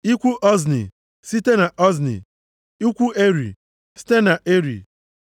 ikwu Ozni, site na Ozni, ikwu Eri, site na Eri,